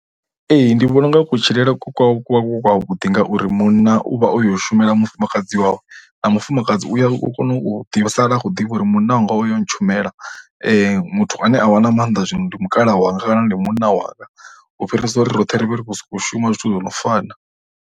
Ee, ndi vhona u nga kutshilele kwa kwa ku kwavhuḓi ngauri munna u vha o yo shumela mufumakadzi wawe na mufumakadzi u ya u kona u ḓi sala a khou ḓivha uri munna wanga o ya u ntshumela muthu ane a vhaa na maanḓa zwino ndi mukalaha wanga kana ndi munna wanga u fhirisa uri roṱhe ri vhe ri khou sokou shuma zwithu zwo no fana.